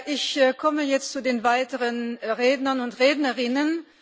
Ich komme jetzt zu den weiteren Rednern und Rednerinnen.